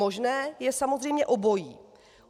Možné je samozřejmě obojí.